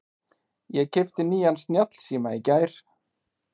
Ég keypti nýjan snjallsíma í gær.